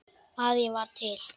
að ég var til.